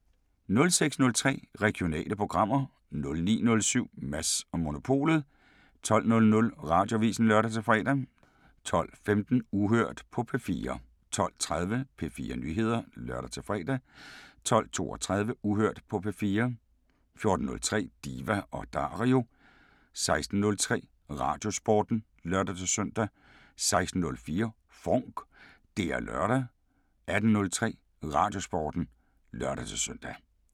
06:03: Regionale programmer 09:07: Mads & Monopolet 12:00: Radioavisen (lør-fre) 12:15: Uhørt på P4 12:30: P4 Nyheder (lør-fre) 12:32: Uhørt på P4 14:03: Diva & Dario 16:03: Radiosporten (lør-søn) 16:04: FONK! Det er lørdag 18:03: Radiosporten (lør-søn)